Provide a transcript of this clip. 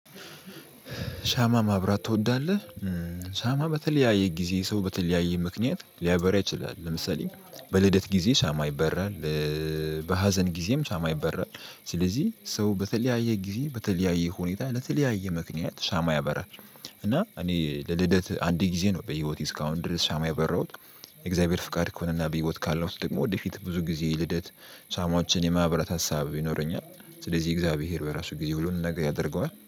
ሻማ ማብራት ትወዳለህ? ሻማ በተለያየ ጊዜ ሰው በተለያየ ምክንያት ሊያበራ ይችላል ለምሳሌ በልደት ጊዜ ሻማ ይበራል። በሀዘን ጊዜም ሻማ ይበራል ስለዚህ ሰው በተለያየ ጊዜ በተለያየ ሁኔታ ለተለያየ ምክንያት ሻማ ያበራል። እና እኔ ለልደት አንድ ጊዜ ነው በህይወቴ እስካሁን ድረስ ሻማ ያበራሁት። የእግዚአብሔር ፍቃድ ከሆነና በህይወት ካለው ውስጥ ደግሞ ወደፊት ብዙ ጊዜ ልደት ሻማዎችን የማብራት ሀሳብ ይኖረኛል። ስለዚህ እግዚአብሔር በራሱ ጊዜ ሁሉንም ነገር ያደርገዋል